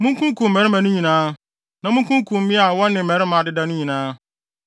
Munkunkum mmarimaa no nyinaa. Na munkunkum mmea a wɔne mmarima adeda no nyinaa.